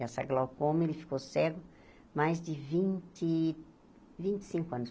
Essa glaucoma, ele ficou cego mais de vinte vinte e cinco anos